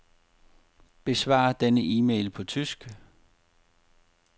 Besvar denne e-mail på tysk.